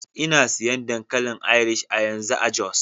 Ina siyan dankalin Irish a yanzu a Jos.